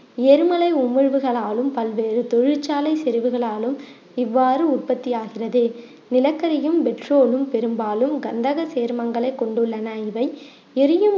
எரிமலை உமிழ்வுகளாலும் பல்வேறு தொழிற்சாலை செரிவுகளாலும் இவ்வாறு உற்பத்தி ஆகிறது நிலக்கரியும், petrol ம் பெரும்பாலும் கந்தகச் சேர்மங்களை கொண்டுள்ளன இவை எரியும்